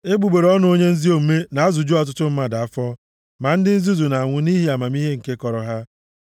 Egbugbere ọnụ onye ezi omume na-azụju ọtụtụ mmadụ afọ, ma ndị nzuzu na-anwụ nʼihi amamihe nke kọrọ ha.